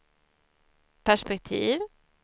perspektiv